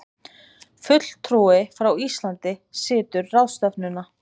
Fulltrúi frá Íslandi situr ráðstefnuna